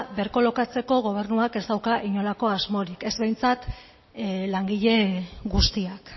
berkolokatzeko gobernuak ez dauka inolako asmorik ez behintzat langile guztiak